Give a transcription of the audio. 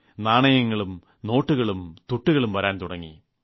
നാണയങ്ങളും നോട്ടുകളും തുട്ടുകളും വരാൻ തുടങ്ങി